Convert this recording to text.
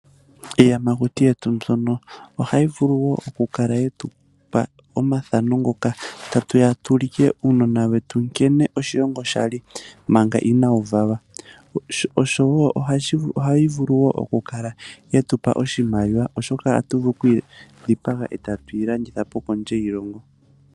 Iiyamakuti yetu mboyono ohayi vulu woo okukala yetupa omathano ngoka tatuya tu ulikile uunona wetu nkene oshilongo shali manga inawuvalwa . Ohayi vulu woo okukala yetupa oshimaliwa oshoka ohatu vulu oku yidhipaga etatu yi landithapo.